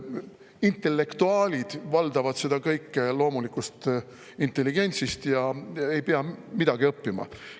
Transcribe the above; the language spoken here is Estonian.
Intellektuaalid valdavad seda kõike loomulikust intelligentsist ega pea midagi õppima.